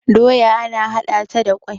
doya ana hada ta da kwai